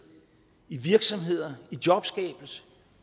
i virksomheder i jobskabelse